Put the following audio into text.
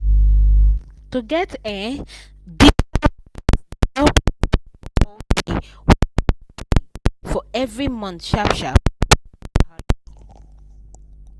to get um digital wallet dey help you follow all the wey you dey pay for every month sharp-sharp without wahala